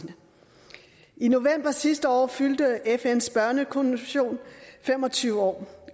i november sidste år fyldte fns børnekonvention fem og tyve år